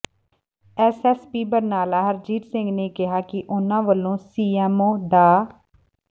SSP Barnala Harjeet Singh ਨੇ ਕਿਹਾ ਕਿ ਉਨ੍ਹਾ ਵਲੋਂ ਸੀਐੱਮਓ ਡਾ